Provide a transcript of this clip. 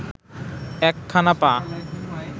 একখানা পা